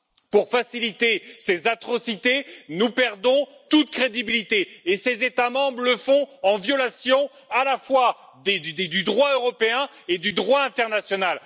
pour faciliter ces atrocités, nous perdons toute crédibilité et ces États membres le font en violation à la fois du droit européen et du droit international.